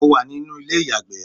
mo wà ní inú ilé iyagbe